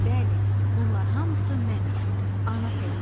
Bəli, bunlar hamısı mənəm, ana təbiət.